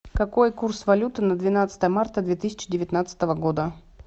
какой курс валюты на двенадцатое марта две тысячи девятнадцатого года